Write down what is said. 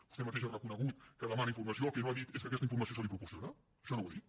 vostè mateix ha reconegut que demana informació el que no ha dit és que aquesta informació se li proporciona això no ho ha dit